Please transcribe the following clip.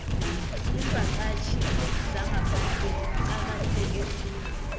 iimvakatjhi zangaphandle zicakatheke khulu